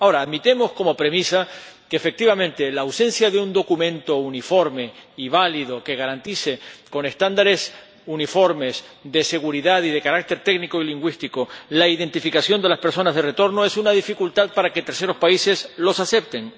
Ahora, admitamos como premisa que, efectivamente, la ausencia de un documento uniforme y válido que garantice, con estándares uniformes de seguridad y de carácter técnico y lingüístico, la identificación de las personas de retorno es una dificultad para que terceros países las acepten.